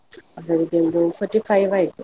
ಅವ್ರಿಗೆ ಒಂದು forty-five ಆಯ್ತು.